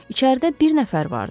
İçəridə bir nəfər vardı.